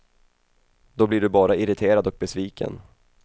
Då blir du bara irriterad och besviken.